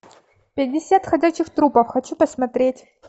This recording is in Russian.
пятьдесят ходячих трупов хочу посмотреть